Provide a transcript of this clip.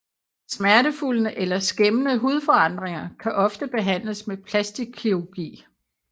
Smertefulde eller skæmmende hudforandringer kan ofte behandles med plastikkirurgi